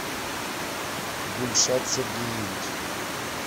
гульшат сергеевич